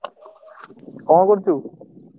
କଣ କରୁଚୁ?